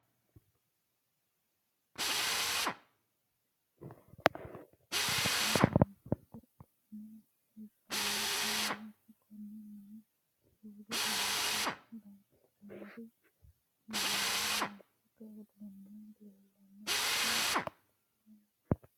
Kunni muuziiqu uduunne hiranni mineeti. Konne mine roore anga gitaarete yinnanni muuziiqu uduunni leelano. Tinni gitaareno dannase duume, kolishonna baqalu danni gitaare no.